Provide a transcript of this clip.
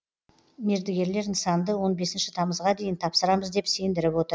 мердігерлер нысанды он бесінші тамызға дейін тапсырамыз деп сендіріп отыр